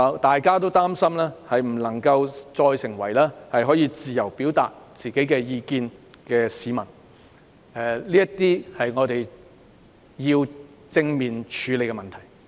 大家也擔心不能再自由地表達意見，這些是我們要正面處理的問題。